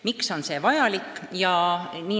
Miks on see vajalik?